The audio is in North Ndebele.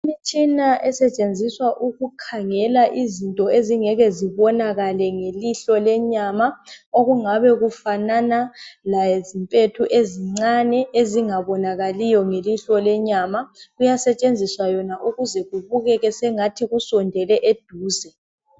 Imitshina esetshenziswa ukukhangela izinto ezingeke zibinokale ngelihlo lenyama okungabe kufanana la zimpethu ezincane ezingabonakaliyo ngelihlo lenyama kuyasetshenziswa yona ukuze kubukeke sengathi kusondele eduze.